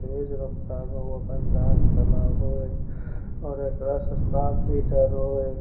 तेज रफ्तार म उ अपन दांत चलाव हय और एकरा से सांप भी डरो हय।